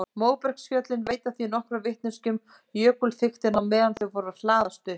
Móbergsfjöllin veita því nokkra vitneskju um jökulþykktina á meðan þau voru að hlaðast upp.